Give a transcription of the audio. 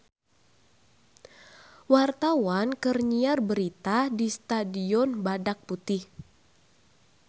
Wartawan keur nyiar berita di Stadion Badak Putih